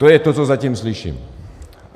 To je to, co zatím slyším.